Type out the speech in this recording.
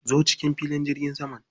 Zo cikin filin jirgin saman.